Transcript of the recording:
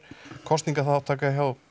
kosningaþátttaka hjá